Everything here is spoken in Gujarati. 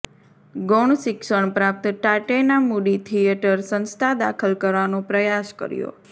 ગૌણ શિક્ષણ પ્રાપ્ત ટાટૈના મૂડી થિયેટર સંસ્થા દાખલ કરવાનો પ્રયાસ કર્યો